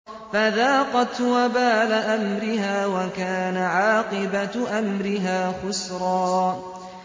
فَذَاقَتْ وَبَالَ أَمْرِهَا وَكَانَ عَاقِبَةُ أَمْرِهَا خُسْرًا